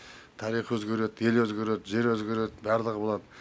тарих өзгереді ел өзгереді жер өзгереді барлығы болады